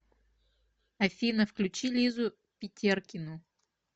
афина включи лизу питеркину